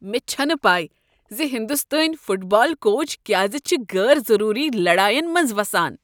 مےٚ چھنہٕ پَے ز ہنٛدستٲنۍ فٹ بال کوچ کیاز چھ غیر ضروری لڑاین منٛز وسان۔